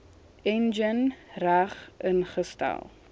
enjin reg ingestel